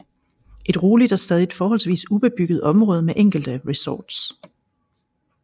Et roligt og stadig forholdsvis ubebygget område med enkelte resorts